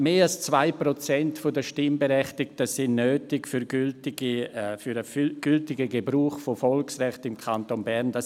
Mehr als zwei Prozent der Stimmberechtigten sind für den gültigen Gebrauch der Volksrechte im Kanton Bern nötig.